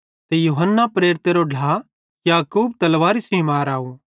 ते यूहन्ना प्रेरितेरो ढ्ला याकूब तलवारी सेइं मराव